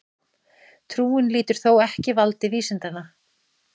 Trúin lýtur þó ekki valdi vísindanna.